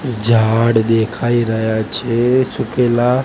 ઝાડ દેખાય રહા છે સુકેલા.